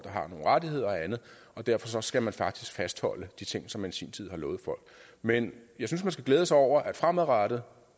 har nogle rettigheder og andet derfor skal man faktisk fastholde de ting som man i sin tid har lovet folk men jeg synes man skal glæde sig over at det fremadrettet